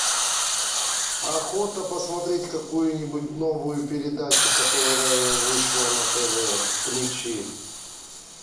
охота посмотреть какую нибудь новую передачу которая вышла на тв включи